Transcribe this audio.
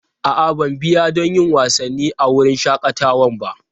A'a, ban biya don yin wasanni a wurin shakatawan ba.